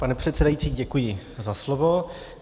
Pane předsedající, děkuji za slovo.